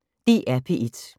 DR P1